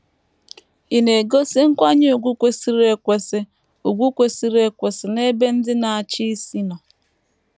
Ị̀ na - egosi nkwanye ùgwù kwesịrị ekwesị ùgwù kwesịrị ekwesị n’ebe ndị na - achị isi nọ?